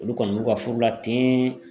Olu kɔni b'u ka furu la ten.